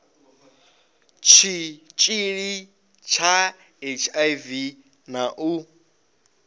tshitshili tsha hiv na u